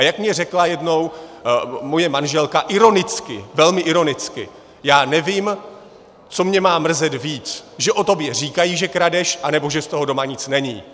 A jak mi řekla jednou moje manželka, ironicky, velmi ironicky: Já nevím, co mě má mrzet víc - že o tobě říkají, že kradeš, anebo že z toho doma nic není.